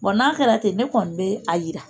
Bɔn n'a kɛra ten ne kɔni bɛ a jira.